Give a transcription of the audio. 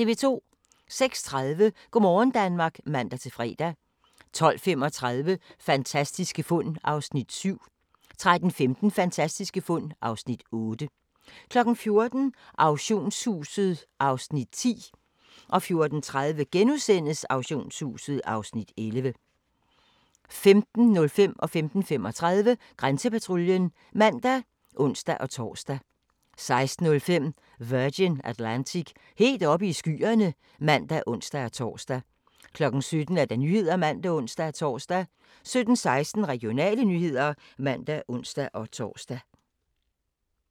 06:30: Go' morgen Danmark (man-fre) 12:35: Fantastiske fund (7:10) 13:15: Fantastiske fund (8:10) 14:00: Auktionshuset (Afs. 10) 14:30: Auktionshuset (Afs. 11)* 15:05: Grænsepatruljen (man og ons-tor) 15:35: Grænsepatruljen (man og ons-tor) 16:05: Virgin Atlantic - helt oppe i skyerne (man og ons-tor) 17:00: Nyhederne (man og ons-tor) 17:16: Regionale nyheder (man og ons-tor)